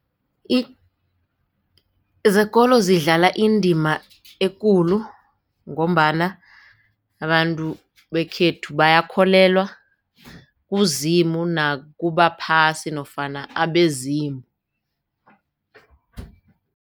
Zekolo zidlala indima ekulu ngombana abantu bekhethu bayakholelwa kuZimu nakubaphasi nofana abezimu.